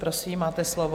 Prosím, máte slovo.